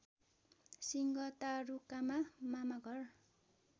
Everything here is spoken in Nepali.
सिंह तारुकामा मामाघर